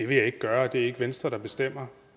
vil jeg ikke gøre og det er ikke venstre der bestemmer